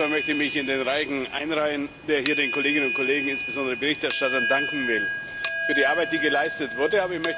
Zunächst einmal möchte mich in den Reigen einreihen, der hier den Kolleginnen und Kollegen, insbesondere den Berichterstattern, danken will für die Arbeit, die geleistet wurde.